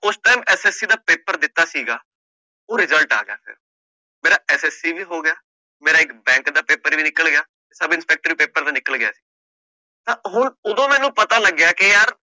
ਉਸ time SSC ਦਾ paper ਦਿੱਤਾ ਸੀਗਾ ਉਹ result ਆ ਗਿਆ ਫਿਰ, ਮੇਰਾ SSC ਵੀ ਹੋ ਗਿਆ, ਮੇਰਾ ਇੱਕ bank ਦਾ ਪੇਪਰ ਵੀ ਨਿਕਲ ਗਿਆ ਸਬ ਇੰਸਪੈਕਟਰ ਪੇਪਰ ਨਿਕਲ ਗਿਆ ਤਾਂ ਉਹ ਉਦੋਂ ਮੈਨੂੰ ਪਤਾ ਲੱਗਿਆ ਕਿ ਯਾਰ